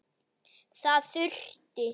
Þar þurfti